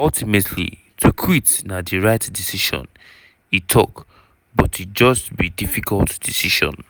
ultimately to quit na "di right decision" e tok but e "just be difficult decision".